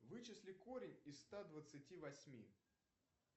вычисли корень из ста двадцати восьми